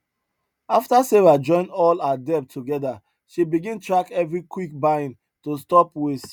after sarah join all her debt together she begin track every quick buying to stop waste